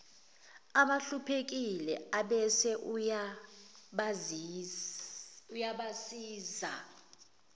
abahluphekile abese uyabasiza